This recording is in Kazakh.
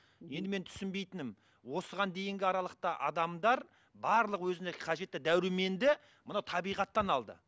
енді менің түсінбейтінім осыған дейінгі аралықта адамдар барлық өзіне қажетті дәруменді мынау табиғаттан алды